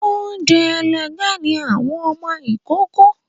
Oun ẹlẹgẹ́ ni àwọn ọmọ ìkókó